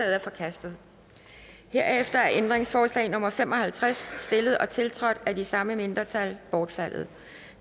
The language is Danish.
er forkastet herefter er ændringsforslag nummer fem og halvtreds stillet og tiltrådt af de samme mindretal bortfaldet